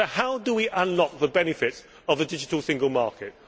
So how do we allot the benefits of the digital single market?